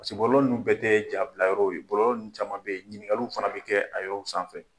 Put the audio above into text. Paseke bɔlɔlɔ ninnu bɛɛ tɛ ja bila yɔrɔw ye. Bɔlɔlɔ ninnu caman bɛ yen ɲiningaliw fana bɛ kɛ a yɔrɔw sanfɛ.